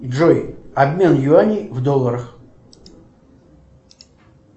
джой обмен юаней в долларах